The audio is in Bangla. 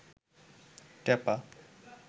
টেপা